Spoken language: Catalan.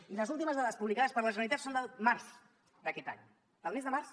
i les últimes dades publicades per la generalitat són del març d’aquest any del mes de març